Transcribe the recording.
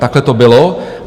Takhle to bylo.